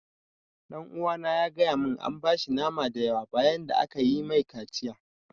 Ɗan uwana ya gaya mun an bashi nama da yawa bayan da aka yi mai kaciya